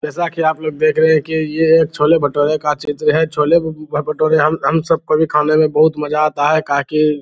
जैसा कि आप लोग देख रहें हैं कि ये छोले भटूरे का चित्र है छोले भटूरे हम सब को भी खाने में बहुत मज़ा आता है काहे की --